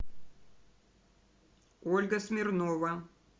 ольга смирнова